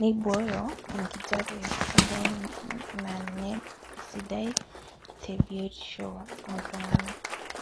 neibooyo enkijape sidai naa ninye esidai te biotisho ooltunganak